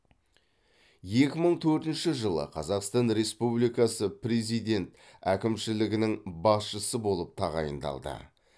екі мың төртінші жылы қазақстан республикасы президент әкімшілігінің басшысы болып тағайындалды